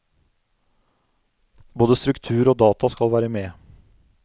Både struktur og data skal være med.